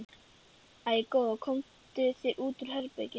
Æi, góða, komdu þér út úr herberginu!